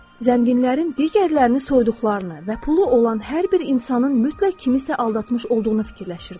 Zənginlərin digərlərini soyduqlarını və pulu olan hər bir insanın mütləq kimisə aldatmış olduğunu fikirləşirdi.